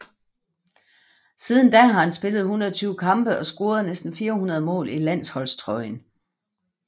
Siden da har han spillet 120 kampe og scoret næsten 400 mål i landsholdstrøjen